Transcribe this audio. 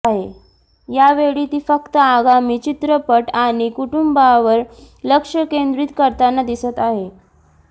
यावेळी ती फक्त आगामी चित्रपट आणि कुटुंबावर लक्ष केंद्रीत करताना दिसत आहे